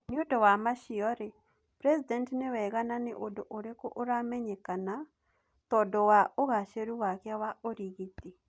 Niundũ wa macio rii president ni wega na ni ũndũ urikũ uramenyekana tandũ wa ugaceru wake wa urigiti?